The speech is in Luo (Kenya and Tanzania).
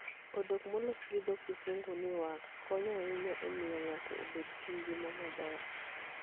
Odok molos gi dho Kisungu ni wax konyo ahinya e miyo ng'ato obed gi ngima maber.